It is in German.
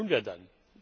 Was tun wir dann?